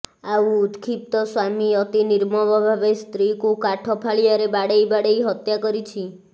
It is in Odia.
ଆଉ ଉତ୍କ୍ଷିପ୍ତ ସ୍ବାମୀ ଅତି ନିର୍ମମ ଭାବେ ସ୍ତ୍ରୀକୁ କାଠ ଫାଳିଆରେ ବାଡେଇ ବାଡେଇ ହତ୍ୟା କରିଛି